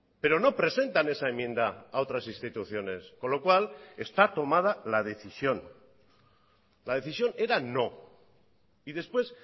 pero no presentan esa enmienda a otras instituciones con lo cual está tomada la decisión la decisión era no y después